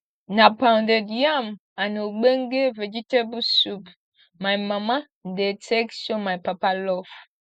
na pounded yam and ogbonge vegetable soup my mama dey take show my papa love